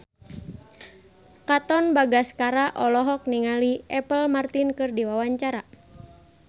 Katon Bagaskara olohok ningali Apple Martin keur diwawancara